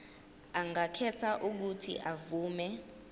angakhetha uuthi avume